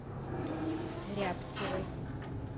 рябцевой